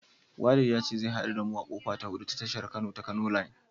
Walid ya ce zai haɗu da mu a kofa ta hudu ta tashar mota ta Kano line.